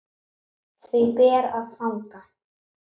Því ber að fagna.